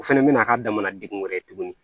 O fɛnɛ bɛna k'a damana degun wɛrɛ ye tuguni